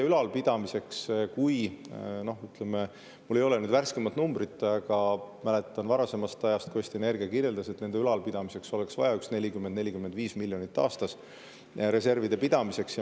Mul ei ole värskemat numbrit, aga mäletan varasemast ajast, et Eesti Energia kirjelduse järgi oleks nende ülalpidamiseks, reservide pidamiseks vaja 40–45 miljonit aastas.